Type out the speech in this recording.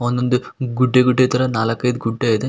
ಒಂದೊಂದು ಗುಡ್ಡೆ ಗುಡ್ಡೆ ತರ ನಾಲಕ್ ಐದು ಗುಡ್ಡೆ ಇದೆ.